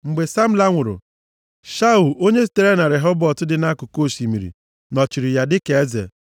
Mgbe Samla nwụrụ, Shaul onye sitere na Rehobọt dị nʼakụkụ osimiri nọchiri ya dịka eze.